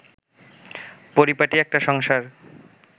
পরিপাটি একটা সংসার